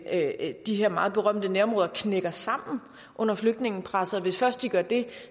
at de her meget berømte nærområder knækker sammen under flygtningepresset og hvis først de gør det